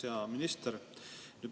Hea minister!